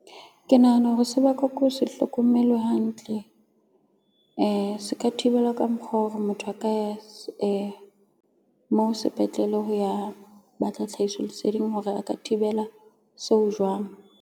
Ke nahana hore se bakwa ke ho se hlokomelwe hantle. Se ka thibelwa ka mokgwa wa hore motho a ka ya mo sepetlele ho ya batla tlhahiso leseding hore a ka thibela seo jwang.